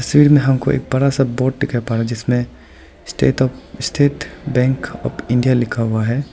में हमको एक बड़ा सा बोर्ड दिखाई पा रहा जिसमें state of State Bank of India लिखा हुआ है।